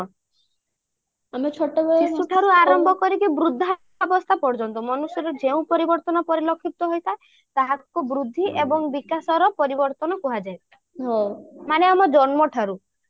ଶିଶୁଠାରୁ ଆରମ୍ଭ କରି ବୃଦ୍ଧା ଅବସ୍ଥା ପର୍ଯ୍ୟନ୍ତ ମନୁଷ୍ୟର ଯେଉଁ ପରିବର୍ତ୍ତନ ପରିଲକ୍ଷିତ ହୋଇଥାଏ ତାହାକୁ ବୃଦ୍ଧି ଏବଂ ବିକାଶର ପରିବର୍ତ୍ତନ କୁହାଯାଏ ମାନେ ଆମ ଜନ୍ମଠାରୁ